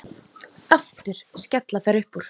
Aftur skella þær upp úr.